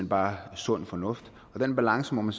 bare sund fornuft og den balance må man